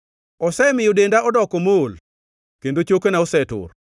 Osemiyo denda odoko mool kendo chokena osetur.